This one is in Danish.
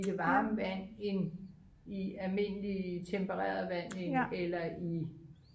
i det varme vand end i almindelig tempereret vand eller i